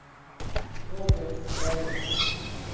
Robin Meling